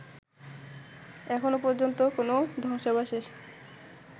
এখন পর্যন্ত কোন ধ্বংসাবশেষ